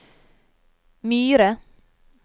Myre